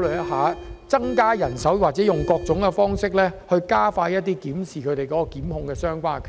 慮增加人手，或以各種方式加快檢視其檢控決定。